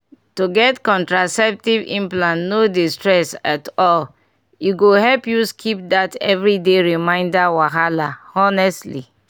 to get contraceptive implant no dey stress at all e go help you skip that everyday reminder wahala honestly!